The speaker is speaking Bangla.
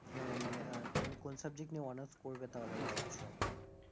আহ মানে আহ তুমি কোন subject নিয়ে honours করবে তাহলে ভাবছো?